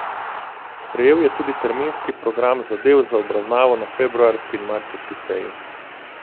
Sprejel je tudi terminski program zadev za obravnavo na februarski in marčevski seji.